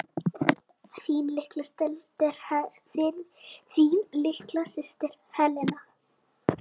Þín litla systir, Helena.